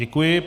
Děkuji.